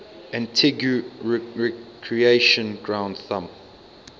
antigua recreation ground thumb